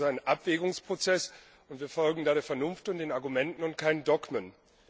Für uns ist es ein Abwägungsprozess, und wir folgen da der Vernunft und den Argumenten, und keinen Dogmen.